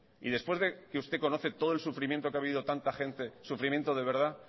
y después de que usted conoce todo el sufrimiento que ha habido tanta gente sufrimiento de verdad